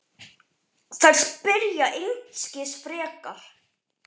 Þær spyrja einskis frekar.